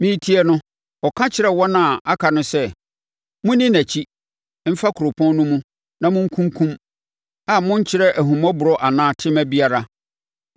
Meretie no, ɔka kyerɛɛ wɔn a aka no sɛ, “Monni nʼakyi mfa kuropɔn no mu na monkunkum, a monnkyerɛ ahummɔborɔ anaa tema biara.